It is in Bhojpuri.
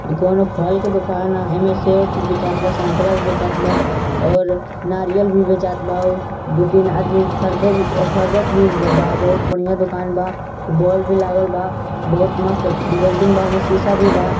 ई कोनों फल की दुकान आहे एमए सेब भी वेचात बा संतरा भी वेचात बा ओर नारियल भी वेचात बा दो तीन आदमी खरदे ए खरदेद भी बा बोहोत बढ़िया दुकान बा बोल भी लागल बा बोहोत मस्त बिल्डिंग बा उमे शीश भी बा।